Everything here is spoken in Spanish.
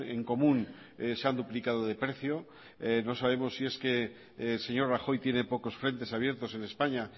en común se han duplicado de precio no sabemos si es que el señor rajoy tiene pocos frentes abiertos en españa